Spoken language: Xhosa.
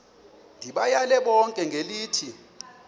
ndibayale bonke ngelithi